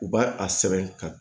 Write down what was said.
U b'a a sɛbɛn ka